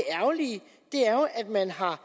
det er jo at man har